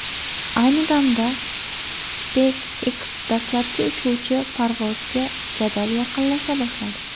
Ayni damda SpaceX dastlabki uchuvchili parvozga jadal yaqinlasha boshladi.